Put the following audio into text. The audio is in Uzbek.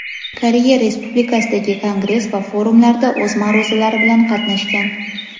Koreya Respublikasidagi kongress va forumlarda o‘z ma’ruzalari bilan qatnashgan.